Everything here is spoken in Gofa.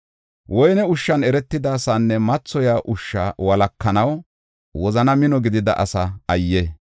Woyne ushshan eretida asaanne mathoyiya ushshu walakanaw wozani mino gidida asaa ayye!